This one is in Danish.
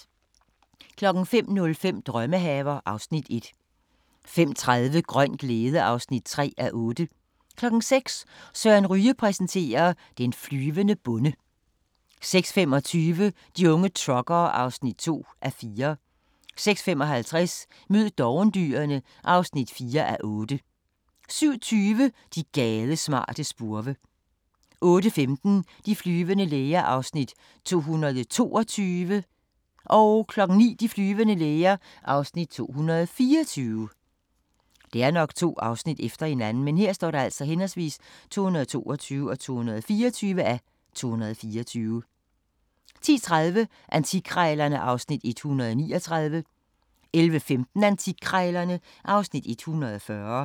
05:05: Drømmehaver (Afs. 1) 05:30: Grøn glæde (3:8) 06:00: Søren Ryge præsenterer: Den flyvende bonde 06:25: De unge truckere (2:4) 06:55: Mød dovendyrene (4:8) 07:20: De gadesmarte spurve 08:15: De flyvende læger (222:224) 09:00: De flyvende læger (224:224) 10:30: Antikkrejlerne (Afs. 139) 11:15: Antikkrejlerne (Afs. 140)